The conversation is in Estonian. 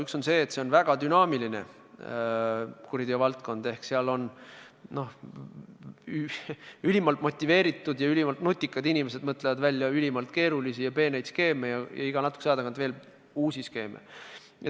Üks on see, et tegemist on väga dünaamilise kuriteovaldkonnaga – ülimalt motiveeritud ja ülimalt nutikad inimesed mõtlevad välja ülimalt keerulisi ja peeneid skeeme ja iga natukese aja tagant veel uuemaid skeeme.